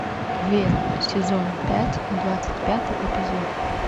верь сезон пять двадцать пятый эпизод